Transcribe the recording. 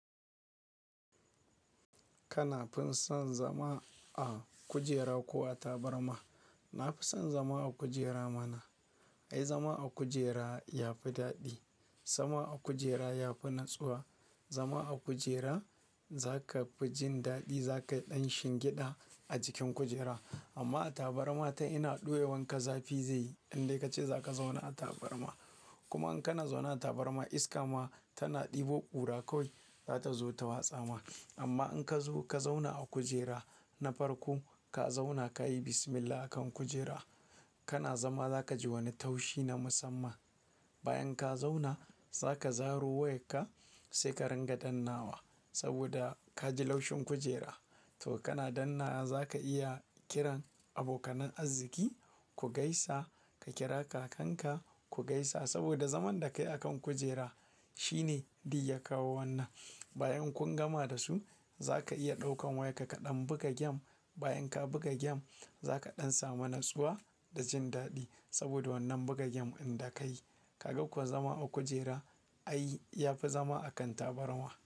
Kana fin son zama a kujera ko a tabarma? Na fi son zama a kujera mana. Ai zama a kujera ya fi daɗi. Zama a kujera ya fi natsuwa. Zama a kujera za ka fi jin daɗi. Za kaɗai shin giɗa a jikin kujera amma a tabarma ta ina ɗuewan ka zafi zai yi in dai ka ce za ka zauna a tabarma. Kuma in kana zaune a tabarma iska ma tana ɗebo ƙura kawai za ta zo ta watsa ma. Amma in ka zo ka zauna a kujera na farko ka zauna ka yi bismillah a kan kujera kana zama za ka ji wani taushi na musamman. Bayan ka zauna za ka zaro wayarka sai ka ringa dannawa saboda ka ji laushin kujera. To kana dannnawa za ka iya kiran abokanan arziki ku gaisa, ka kira kakanka ku gaisa saboda zaman da ka yi akan kujera shine duk ya kawo wannan. Bayan kun gama da su za ka iya ɗaukan wayarka kaɗan buga game. Bayan ka buga game za kaɗan samu natsuwa da jin daɗi saboda wannan buga gem inda ka yi. Kaga ko zama a kujera ai ya fi zama akan tabarma.